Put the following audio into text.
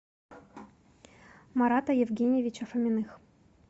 марата евгеньевича фоминых